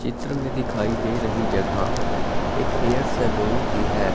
चित्र में दिखाई दे रही जगह एक हेयर सैलून की है।